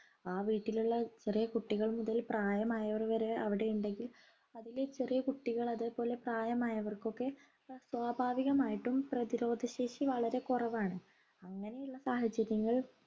ആ വീട്ടിലുള്ള ചെറിയ കുട്ടികൾ മുതൽ പ്രായമായവർ വരെ അവിടെയുണ്ടെങ്കിൽ അതിലെ ചെറിയ കുട്ടികൾ അതെപോലെ പ്രായമായവർക്കൊക്കെ സ്വാഭാവികമായിട്ടും പ്രതിരോധ ശേഷി വളരെ കുറവാണ് അങ്ങനെയുള്ള സാഹചര്യങ്ങൾ